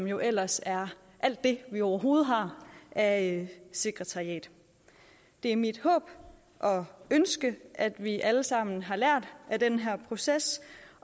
jo ellers alt det vi overhovedet har af sekretariat det er mit håb og ønske at vi alle sammen har lært af den her proces